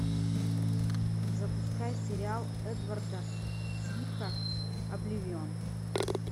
запускай сериал эдварда цвика обливион